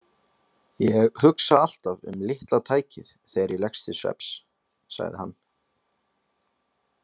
Ég hugsa alltaf um litla tækið þegar ég leggst til svefns, sagði hann.